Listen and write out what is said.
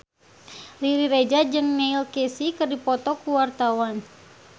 Riri Reza jeung Neil Casey keur dipoto ku wartawan